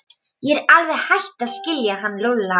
Ég er alveg hætt að skilja hann Lúlla.